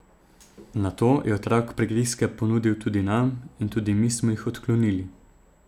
Nato je otrok prigrizke ponudil tudi nam in tudi mi smo jih odklonili.